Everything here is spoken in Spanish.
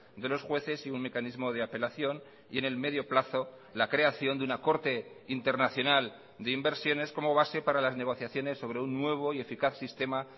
de los jueces y un mecanismo de apelación y en el medio plazo la creación de una corte internacional de inversiones como base para las negociaciones sobre un nuevo y eficaz sistema